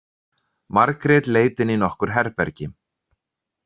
Margrét leit inn í nokkur herbergi.